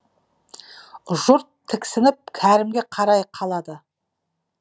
жұрт тіксініп кәрімге қарай қалады